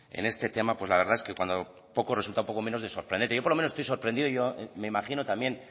en este tema pues la verdad es que el resultado poco menos que sorprendente yo por lo menos estoy sorprendido y me imagino también